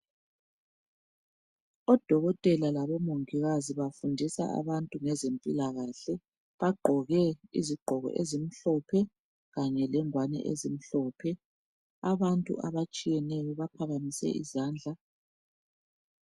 Odokotela labomongikazi bafundisa abantu ngezempilakahle bagqoke izigqoko ezimhlophe kanye lengwani ezimhlophe abantu abatshiyeyo baphakamise izandla